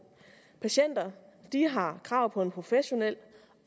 patienter har krav på en professionel